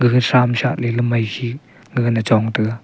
g sham cha ley mai ji gaga na chong te ga.